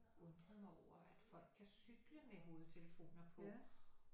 Undret mig over at folk kan cykle med hovedtelefoner på